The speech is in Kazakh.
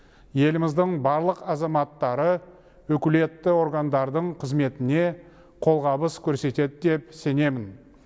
еліміздің барлық азаматтары өкілетті органдардың қызметіне қолғабыс көрсетеді деп сенемін